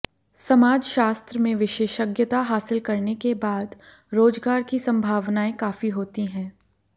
समाजशास्त्र में विशेषज्ञता हासिल करने के बाद रोजगार की संभावनाएं काफी होती हैं